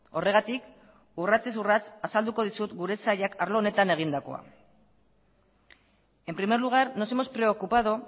horregatik urratsez urrats azalduko dizut gure sailak arlo honetan egindakoa en primer lugar nos hemos preocupado